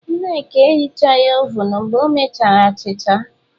Nneka ehichaghi ovun mgbe o mechara achịcha.